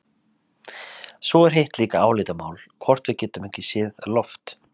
Svo er hitt líka álitamál hvort við getum ekki séð loft.